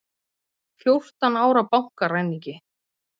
Fjórtán ára bankaræningi